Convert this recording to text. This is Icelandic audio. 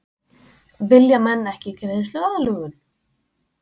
Vilja menn ekki greiðsluaðlögun?